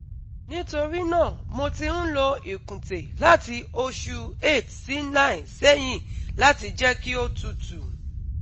Nítorí náà mo ti ń lo ìkùntè láti oṣù 8-9 sẹ́yìn láti jẹ́ kí ó tutù